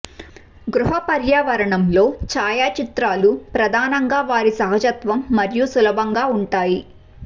గృహ పర్యావరణంలో ఛాయాచిత్రాలు ప్రధానంగా వారి సహజత్వం మరియు సులభంగా ఉంటాయి